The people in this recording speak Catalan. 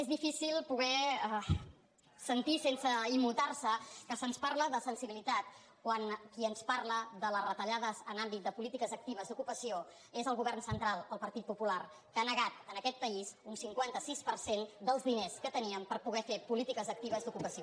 és difícil poder sentir sense immutar se que se’ns parli de sensibilitat quan qui ens parla de les retallades en l’àmbit de polítiques actives d’ocupació és el govern central el partit popular que ha negat a aquest país un cinquanta sis per cent dels diners que teníem per poder fer polítiques actives d’ocupació